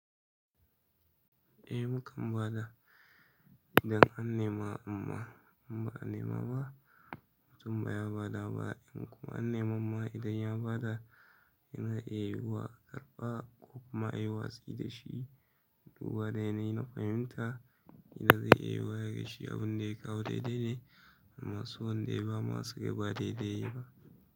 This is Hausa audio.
Eh mu kan ba da idan an nema amma in ba a nema ba. Mutum ba ya ba da ba'in kuma an neman ma idan ya ba da yana iya yi wa ƙarɓa ko kuma yi watsi da shi. Duba dai na fahimta idan zai iya yi wa daga shi abun dai kawo dai dai ne amma su wanda yayi bama su yi ba dai dai yayi ba.